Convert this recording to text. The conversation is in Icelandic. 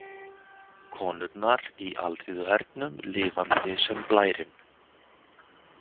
Konurnar í Alþýðuhernum Lifandi sem blærinn!